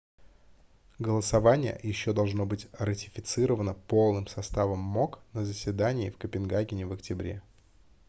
голосование еще должно быть ратифицировано полным составом мок на заседании в копенгагене в октябре